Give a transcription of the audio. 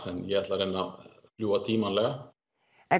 en ég ætla reyna að fljúga tímanlega en